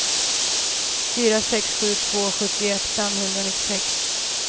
fyra sex sju två sjuttioett femhundranittiosex